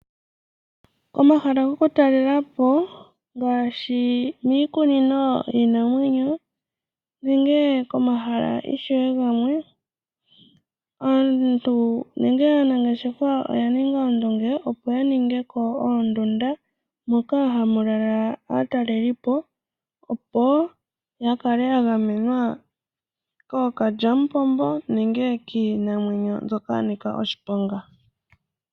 Omahala gokutalela po ngaashi, miikunino yiinamwenyo nenge komahala ishewe gamwe aantu nenge aanangeshefa oyaninga ondunge opo yaningeko oondunda moka hamulala aataleli po opo yakale yagamenwa kookalyamupombo nenge kiinamwenyo mbyoka yanika oshiponga.